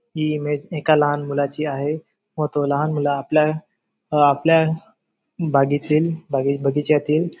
ही image एका लहान मुलाची आहे व तो लहान मुल आपल्या आपल्या बागेतील बगीच्यातील--